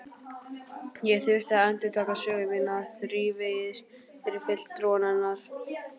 Ég þurfti að endurtaka sögu mína þrívegis fyrir fulltrúum hennar.